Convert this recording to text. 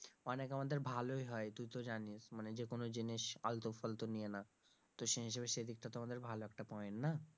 অনেক আমাদের ভালই হয়, তুই তো জানিস মানে যে কোন জিনিস আলতু ফালতু নিয়ে না তো সেই হিসেবে সেই দিকটা তো আমাদের ভালো একটা point না?